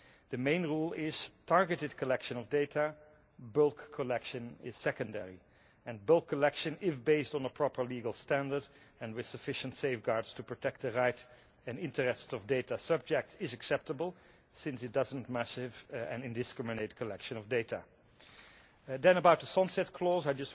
The main rule is targeted collection of data, bulk collection, is secondary, and bulk collection, if based on a proper legal standard and with sufficient safeguards to protect the rights and interests of data subjects, is acceptable, since it is not massive and indiscriminate collection of data. Then about the sunset clause,